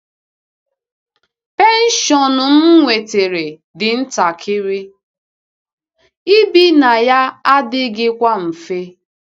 Penshọn m nwetara dị ntakịrị, ibi na ya adịghịkwa mfe.